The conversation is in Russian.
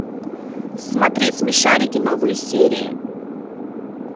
смотреть смешарики новые серии